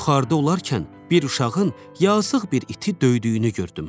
Yuxarıda olarkən bir uşağın yazıq bir iti döydüyünü gördüm.